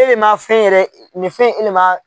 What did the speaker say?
E le man fɛn yɛrɛ nin fɛn in e le man